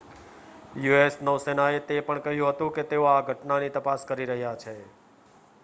US નૌસેનાએ તે પણ કહ્યું હતું કે તેઓ આ ઘટનાની તપાસ કરી રહ્યા છે